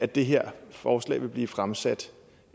det her forslag vil blive fremsat